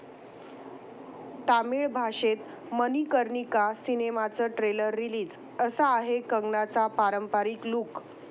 तामिळ भाषेत मणिकर्णिका सिनेमाचं trailer release, 'असा' आहे कंगनाचा पारंपारिक लुक